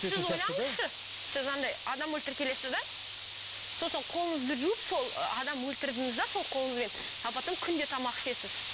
сіз ойлаңызшы сіз андай адам өлтіріп келесіз де сосын қолыңызды жуып сол адам өлтірдіңіз де сол қолыңызбен а потом күнде тамақ ішесіз